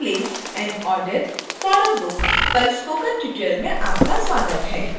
how to place an order for a book पर spoken tutorial में आपका स्वागत है